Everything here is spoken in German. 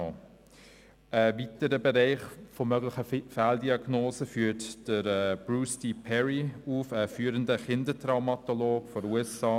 Einen weiteren Bereich möglicher Fehldiagnosen führt Bruce D. Perry auf, ein führender Kindertraumaspezialist aus den USA.